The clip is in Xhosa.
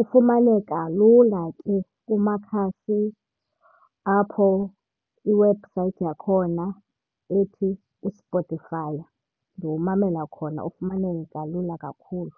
Ufumaneka lula ke kumakhasi apho iwebhusayithi yakhona ethi uSpotify. Ndiwumamela khona ufumaneka lula kakhulu.